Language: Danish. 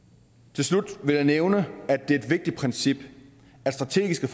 til slut vil jeg nævne at det er et vigtigt princip at strategiske